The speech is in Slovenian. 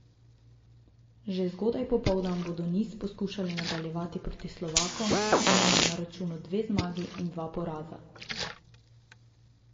Že zgodaj popoldan bodo niz poskušali nadaljevati proti Slovakom, ki imajo na računu dve zmagi in dva poraza.